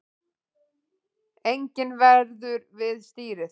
Enginn verður við stýrið